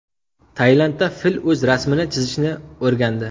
Tailandda fil o‘z rasmini chizishni o‘rgandi .